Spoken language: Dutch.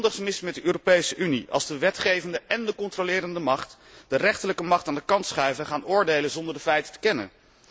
Er is iets grondig mis met de Europese Unie als de wetgevende en de controlerende macht de rechterlijke macht aan de kant schuiven en gaan oordelen, zonder de feiten te kennen.